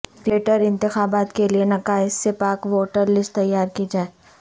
greater انتخابات کیلئے نقائص سے پاک ووٹر لسٹ تیار کی جائے